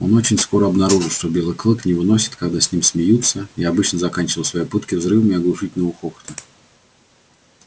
он очень скоро обнаружил что белый клык не выносит когда с ним смеются и обычно заканчивал свои пытки взрывами оглушительного хохота